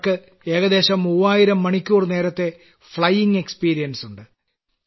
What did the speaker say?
അവർക്ക് ഏകദേശം മൂവായിരം മണിക്കൂർ നേരത്തെ പറക്കൽ പരിചയം ഉണ്ട്